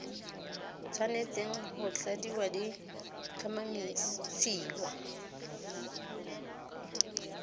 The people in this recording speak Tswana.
tshwanetseng go tladiwa di tlhomamisiwa